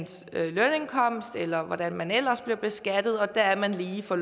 sin lønindkomst eller hvordan man ellers bliver beskattet og der er man lige for